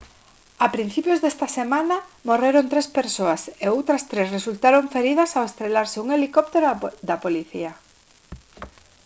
a principios desta semana morreron tres persoas e outras tres resultaron feridas ao estrelarse un helicóptero da policía